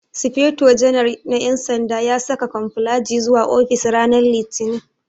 Sufeto janar na ƴan sanda ya saka kamuflaji zuwa ofis ranan litinin